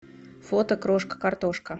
фото крошка картошка